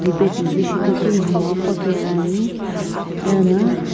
kibe nimgha ko paghi Pani ano.